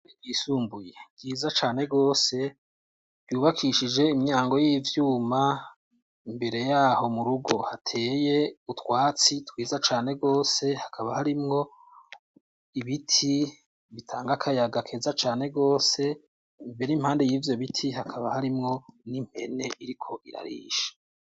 Ishure ryisumbuye ryiza cane gose ryubakishije imyango y'ivyuma imbere yaho mu rugo hateye utwatsi twiza cane gose hakaba harimwo ibiti bitanga kayaga keza cane gose mbere impande yivyo biti hakaba harimwo n'impene iriko irarisha.